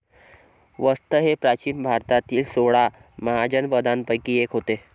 वस्त हे प्राचीन भारतातील सोळा महाजनपदांपैकी एक होते.